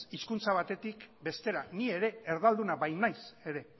hizkuntza batetik bestera ni ere erdalduna bainaiz ere